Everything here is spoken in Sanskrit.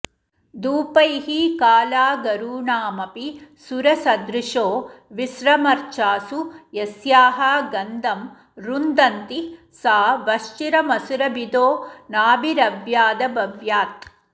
धूपैः कालागरूणामपि सुरसुदृशो विस्रमर्चासु यस्याः गन्धं रुन्धन्ति सा वश्चिरमसुरभिदो नाभिरव्यादभव्यात्